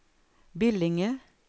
Billinge